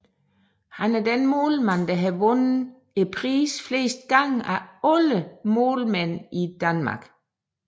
Han er den målmand der har vundet prisen flest gange af alle målmænd i Danmark